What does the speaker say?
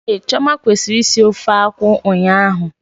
Ehhh, Chioma kwesịrị isi ofe akwụ ụnyaahụ